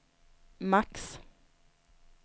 max